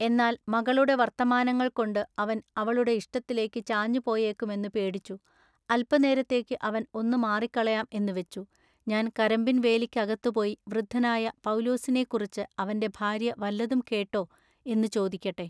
എന്നാൽ മകളുടെ വർത്തമാനങ്ങൾകൊണ്ടു അവൻ അവളുടെ ഇഷ്ടത്തിലേക്കു ചാഞ്ഞുപോയേക്കുമെന്നു പേടിച്ചു അല്പനേരത്തേക്കു അവൻ ഒന്നു മാറികളയാം എന്നു വെച്ചു ഞാൻ കരമ്പിൻവേലിക്കകത്തുപോയി വൃദ്ധനായ പൌലുസിനെക്കുറിച്ചു അവന്റെ ഭാര്യ വല്ലതും കേട്ടൊ എന്നു ചോദിക്കട്ടെ.